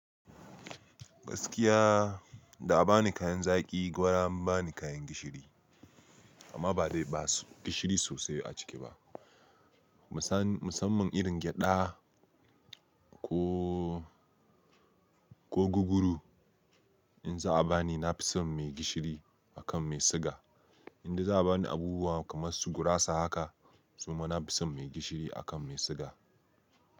Gaskiya, da a ba ni kayan zaƙi gwara an ba ni kayan gishiri amma dai basu da gishiri sosai a ciki ba. Musamman irin gyaɗa ko guguru in za a ba ni na fi son mai gishiri akan mai sugar. Inde za a ba ni abubuwa kamar su gurasa haka, suma na fi son mai gishiri akan mai siga.